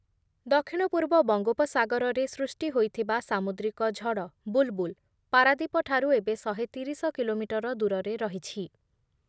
ଦକ୍ଷିଣ ପୂର୍ବ ବଙ୍ଗୋପସାଗରରେ ସୃଷ୍ଟି ହୋଇଥିବା ସାମୁଦ୍ରିକ ଝଡ଼ ‘ବୁଲ୍‌ବୁଲ୍’ ପାରାଦୀପଠାରୁ ଏବେ ଶହେ ତିରିଶ କିଲୋମିଟର ଦୂରରେ ରହିଛି ।